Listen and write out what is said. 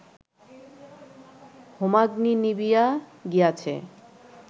হোমাগ্নি নিবিয়া গিয়াছে